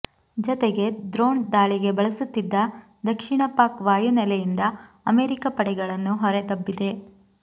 ಜೊತೆಗೆ ದ್ರೋಣ್ ದಾಳಿಗೆ ಬಳಸುತ್ತಿದ್ದ ದಕ್ಷಿಣ ಪಾಕ್ ವಾಯುನೆಲೆಯಿಂದ ಅಮೆರಿಕ ಪಡೆಗಳನ್ನು ಹೊರದಬ್ಬಿದೆ